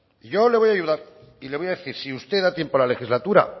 y yo ahora le voy a ayudar y le voy a decir si usted le da tiempo a la legislatura